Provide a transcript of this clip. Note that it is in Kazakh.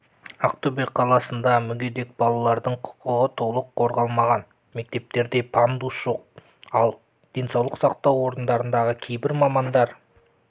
ақтөбе қаласында мүгедек балалардың құқығы толық қорғалмаған мектептерде пандус жоқ ал денсаулық сақтау орындарындағы кейбір мамандар